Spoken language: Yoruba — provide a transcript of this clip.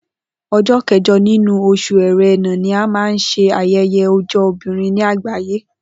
O̩jó̩ ké̩jo̩ nínú o̩s̩ù E̩ré̩nà ni a máa ń s̩e aye̩ye̩ o̩jó̩ obìnrin ní àgbàyé